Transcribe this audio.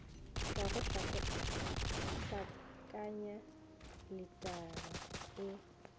ka go hlakanya litara e